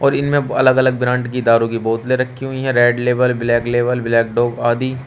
और इन में अलग अलग ब्रांड की दारू की बोतलें रखी हुई हैं red label black label black dog आदि।